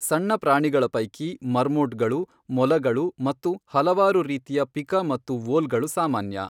ಸಣ್ಣ ಪ್ರಾಣಿಗಳ ಪೈಕಿ, ಮರ್ಮೋಟ್ಗಳು, ಮೊಲಗಳು ಮತ್ತು ಹಲವಾರು ರೀತಿಯ ಪಿಕಾ ಮತ್ತು ವೋಲ್ಗಳು ಸಾಮಾನ್ಯ.